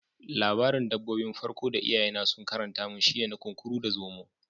Labarin dabbobi 'n farko da iyaye na sun karanta mun shine na Kunkuru da Zomo.